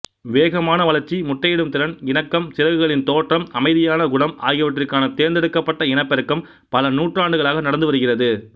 வேகமான வளர்ச்சி முட்டையிடும் திறன் இணக்கம் சிறகுகளின் தோற்றம் அமைதியான குணம் ஆகியவற்றிற்கான தேர்ந்தெடுக்கப்பட்ட இனப்பெருக்கம் பல நூற்றாண்டுகளாக நடந்துவருகிறது